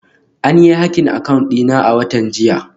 An yi hacking account dina a watan jiya